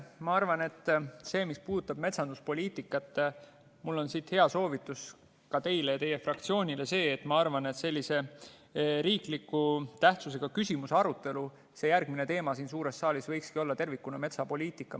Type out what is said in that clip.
Ma arvan, et mis puudutab metsanduspoliitikat, siis mul on teile ja teie fraktsioonile hea soovitus: ma arvan, et riikliku tähtsusega küsimuse arutelu järgmine teema siin suures saalis võikski olla tervikuna metsapoliitika.